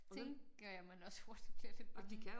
Tænker jeg man også hurtigt bliver lidt bange